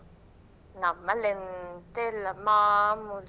ನಮ್ಮನೆಯಲ್ಲಿ ಎಂತ ಇಲ್ಲಾ ಮಾಮೂಲಿ.